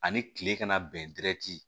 Ani kile kana bɛn dti